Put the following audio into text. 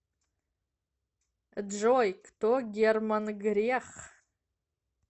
джой кто герман грех